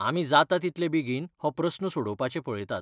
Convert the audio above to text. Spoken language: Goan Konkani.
आमी जाता तितले बेगीन हो प्रस्न सोडोवपाचें पळयतात.